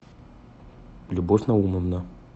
любовь наумовна